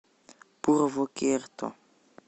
пурвокерто